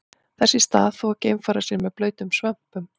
Þess í stað þvo geimfarar sér með blautum svömpum.